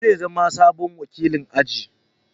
Shi zai zama sabon wakilin aji.